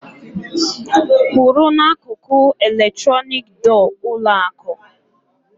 Kwụrụ n'akụkụ eletronik dọọ ụlọ akụǃ